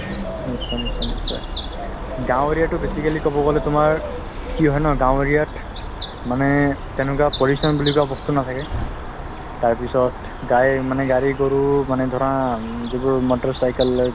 নিশ্চয় নিশ্চয় নিশ্চয় গাওঁ area তো basically কব গলে তুমাৰ কি হয় ন গাওঁ area ত মানে তেনেকুৱা বুলা বস্ত নাথাকে তাৰপিছত গাই মানে গাড়ী গৰু মানে ধৰা যিবোৰ motorcycle লৈ